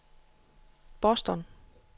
Boston